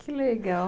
Que legal.